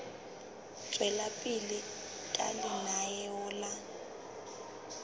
tswela pele ka lenaneo la